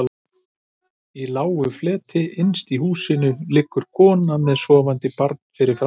Í lágu fleti innst inni í húsinu liggur konan með sofandi barnið fyrir framan sig.